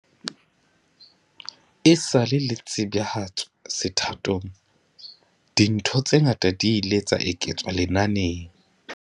Esale le tsebahatswa sethathong, dintho tse ngata di ile tsa eketswa lenaneng.